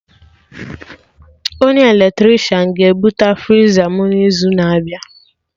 Onye eletrishan ga ebute friza mụ n'izu na-abịa